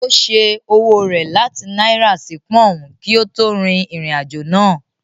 Ó ṣẹ́ owó rẹ̀ láti náírà sí pọùn kí ó tó rin ìrìn-àjò náà.